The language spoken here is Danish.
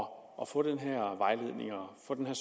og få den her vejledning og få den her